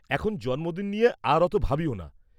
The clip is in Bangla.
-এখন জন্মদিন নিয়ে আর অত ভাবিও না।